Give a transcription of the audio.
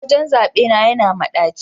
wajen zaɓe na yana madaci